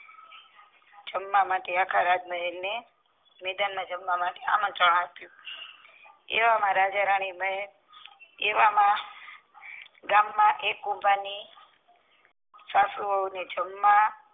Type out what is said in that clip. જમવા માટે આખા રાજમહેલ ને મેદાન માં જમવા માટે આમંત્રણ અપીયું એવા માં રાજા રાની એવા માં ગામ માં એક કુંભાર ની સાસુ વહુ ને જમવા